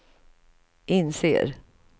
inser